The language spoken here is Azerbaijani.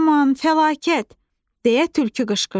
"Ay aman, fəlakət!" - deyə tülkü qışqırdı.